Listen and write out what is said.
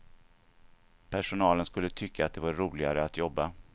Personalen skulle tycka att det var roligare att jobba.